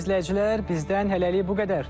Dəyərli izləyicilər, bizdən hələlik bu qədər.